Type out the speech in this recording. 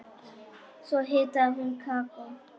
Svo hitaði hún kakó.